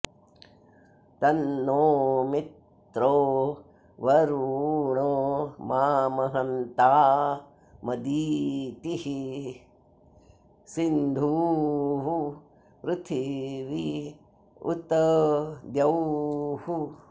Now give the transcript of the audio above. तन्नो॑ मि॒त्रो वरु॑णो मामहन्ता॒मदि॑तिः॒ सिन्धुः॑ पृथि॒वी उ॒त द्यौः